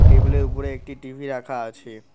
টেবিলের উপরে একটি টি_ভি রাখা আছে।